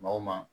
Maa o maa